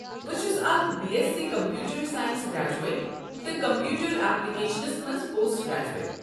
بہٕ چھس اکھ B S C computer science graduate تہٕ کمپیوٗٹر ایپلیکیشنس منٛز پوسٹ گریجویٹ۔